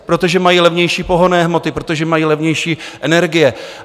Protože mají levnější pohonné hmoty, protože mají levnější energie.